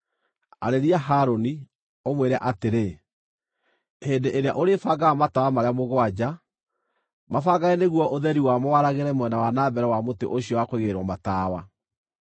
“Arĩria Harũni, ũmwĩre atĩrĩ, ‘Hĩndĩ ĩrĩa ũrĩbangaga matawa marĩa mũgwanja, mabangage nĩguo ũtheri wamo waragĩre mwena wa na mbere wa mũtĩ ũcio wa kũigĩrĩrwo matawa.’ ”